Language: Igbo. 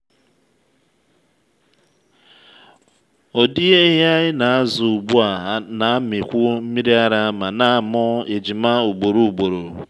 ụdị ehi anyị na-azụ ugbu a na-amịkwu nmiri ara ma na-amụ ejima ugboro ugboro.